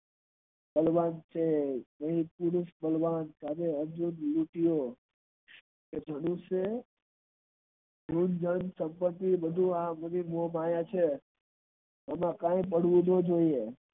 આજે અનેક સંપત્તિ આ બધી મોહમાયા છે એમાં કય પડવું નો જોયે.